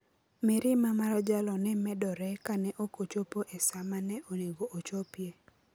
Mirima mar jalo ne medore kane ok ochopo e sa ma ne onego ochopie.